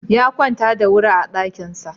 Ya kwanta bacci da wuri a ɗakinsa.